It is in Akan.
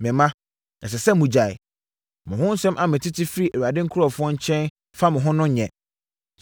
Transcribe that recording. Me mma, ɛsɛ sɛ mogyae! Mo ho nsɛm a metete firi Awurade nkurɔfoɔ nkyɛn fa mo ho no nyɛ.